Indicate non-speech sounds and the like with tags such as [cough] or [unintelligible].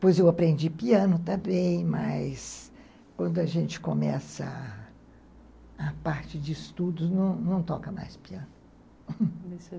Pois eu aprendi piano também, mas quando a gente começa a parte de estudos, não não toca mais piano. [unintelligible]